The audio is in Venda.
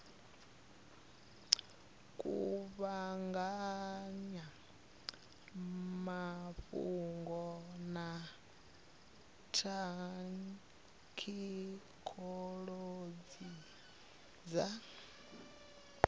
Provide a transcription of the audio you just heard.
kuvhanganya mafhungo na thekhinolodzhi dza